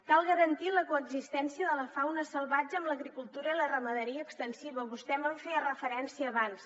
cal garantir la coexistència de la fauna salvatge amb l’agricultura i la ramaderia extensiva vostè me’n feia referència abans